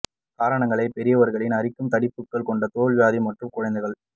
காரணங்களை பெரியவர்களில் அரிக்கும் தடிப்புகள் கொண்ட தோல் வியாதி மற்றும் குழந்தைகள்